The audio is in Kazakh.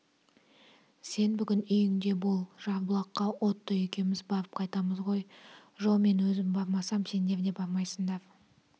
сен бүгін үйіңде бол жарбұлаққа отто екеуміз барып қайтамыз ғой жо мен өзім бармасам сендер де бармайсыңдар